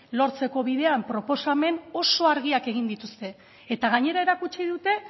lortzeko bidean proposamen oso argiak egin dituzte eta gainera erakutsi dute